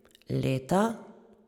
Leta?